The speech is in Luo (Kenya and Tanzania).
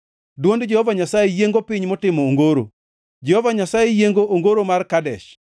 Dwond Jehova Nyasaye yiengo piny motimo ongoro; Jehova Nyasaye yiengo ongoro mar Kadesh.